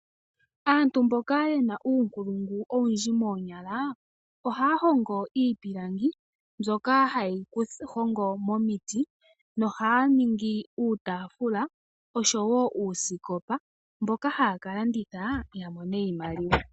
Aantu mboka ye na uunkulungu owundji moonyala, ohaya hongo iipilangi, mbyoka haye yi hongo momiti nohaya ningi uutaafula osho wo uusikopa, mboka haya ka landitha ya mone iimaliwa.